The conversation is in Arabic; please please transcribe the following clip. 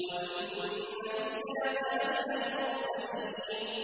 وَإِنَّ إِلْيَاسَ لَمِنَ الْمُرْسَلِينَ